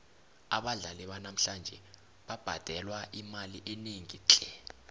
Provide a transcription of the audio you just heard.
abadlali banamhlanje babhadelwa imali enengi tle